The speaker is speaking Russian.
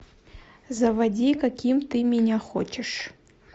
заводи каким ты меня хочешь